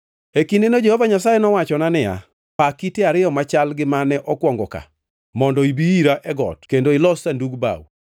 E kindeno Jehova Nyasaye nowachona niya, “Paa kite ariyo machal gi mane okwongo ka, mondo ibi ira e got kendo ilos Sanduk bao.